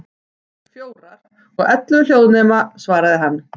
Fjórar, og ellefu hljóðnema, svaraði hann.